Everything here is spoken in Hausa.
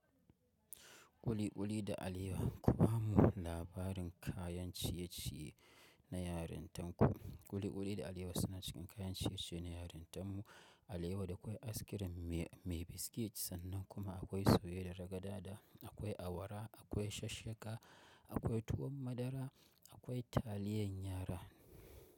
Kuli-kuli da alewa kuma labarin kayan ciye-ciye na yarintan ku. Kuli-kuli da alewa suna cikin kayan ciye-ciye na yarintan mu. Alewa da akwai askirim mai biskit sannan kuma akwai soye da ragada da akwai awara, akwai shasshaka, akwai tuwon madara, akwai taliyan yara.